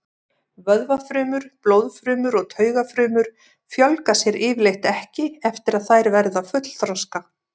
Vöðvafrumur, blóðfrumur og taugafrumur fjölga sér yfirleitt ekki eftir að þær verða fullþroska.